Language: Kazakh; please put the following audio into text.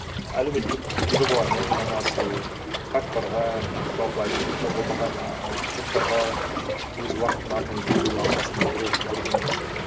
әлеуметтік жобалармен айналысу қарттарға жалпы әлеуметтік қорғалмаған ааа топтарға өз уақытын арнайы бөлу аптасына бір рет бір күн